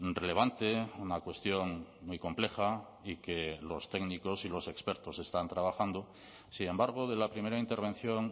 relevante una cuestión muy compleja y que los técnicos y los expertos están trabajando sin embargo de la primera intervención